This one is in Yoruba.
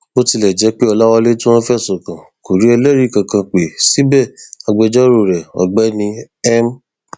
bó tilẹ jẹ pé ọlàwálé tí wọn fẹsùn kàn kò rí ẹlẹrìí kankan pé síbẹ agbẹjọrò rẹ ọgbẹni m